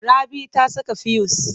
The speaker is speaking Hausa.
Rabi ta saka fuyus.